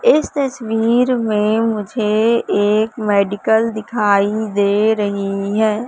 इस तस्वीर में मुझे एक मेडिकल दिखाई दे रही है।